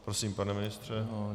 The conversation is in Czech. Prosím, pane ministře.